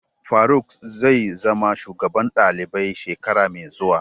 Faruk zai zama shugaban dalibai shekara mai zuwa.